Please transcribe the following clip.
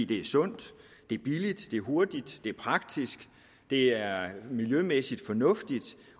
det er sundt det er billigt det er hurtigt det er praktisk det er miljømæssigt fornuftigt